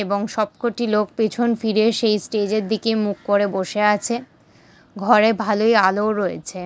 এবং সবকটি লোক পেছন ফিরে সেই স্টেজের দিকে মুখ করে বসে আছে ঘড়ে ভালোই আলো-ও রয়েছে ।